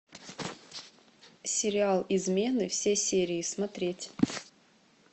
сериал измены все серии смотреть